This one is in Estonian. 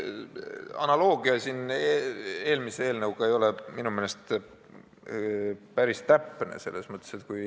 Analoogia eelmise eelnõuga ei ole minu meelest päris täpne.